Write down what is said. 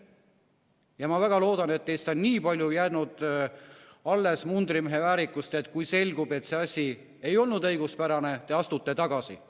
Ja ma väga loodan, et teis on nii palju jäänud alles mundrimehe väärikust, et kui selgub, et see asi ei olnud õiguspärane, siis te astute tagasi.